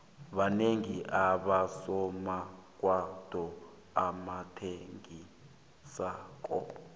banengi abosomarhwebo abathengisako